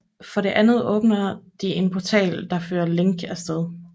For det andet åbner de en portal der fører Link af sted